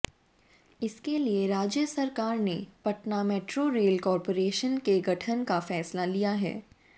इसके लिए राज्य सरकार ने पटना मेट्रो रेल कॉर्पोरेशन के गठन का फैसला लिया है